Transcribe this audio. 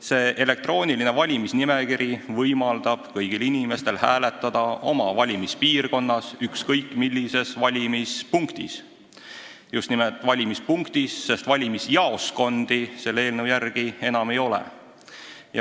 See elektrooniline valimisnimekiri võimaldab kõigil inimestel hääletada oma valimispiirkonnas ükskõik millises valimispunktis – just nimelt valimispunktis, sest valimisjaoskondi selle eelnõu järgi enam ei ole.